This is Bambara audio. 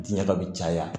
Diɲɛ ka bi caya